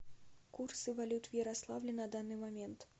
курсы валют в ярославле на данный момент